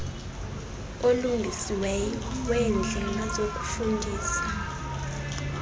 olungisiweyo weendlela zokufundisa